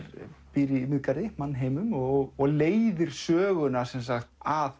býr í Miðgarði mannheimum og og leiðir söguna að